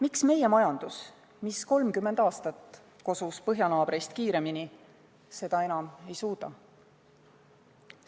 Miks meie majandus, mis 30 aastat kosus põhjanaabrite omast kiiremini, seda enam ei suuda?